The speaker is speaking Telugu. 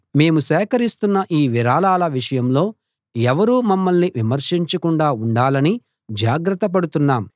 మేము సేకరిస్తున్న ఈ విరాళాల విషయంలో ఎవరూ మమ్మల్ని విమర్శించకుండా ఉండాలని జాగ్రత్త పడుతున్నాం